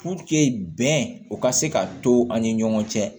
bɛn o ka se ka to an ni ɲɔgɔn cɛ